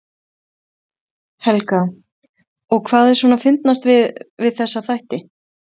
Helga: Og hvað er svona fyndnast við, við þessa þætti?